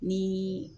Ni